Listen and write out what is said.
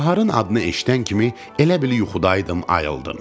Baharın adını eşidən kimi elə bil yuxudaydım, ayıldım.